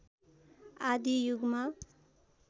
आदि युगमा